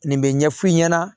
Nin bɛ ɲɛ f'u ɲɛna